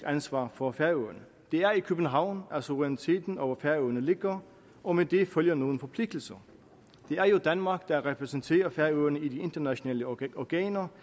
ansvar for færøerne det er i københavn at suveræniteten over færøerne ligger og med det følger nogle forpligtelser det er jo danmark der repræsenterer færøerne i de internationale organer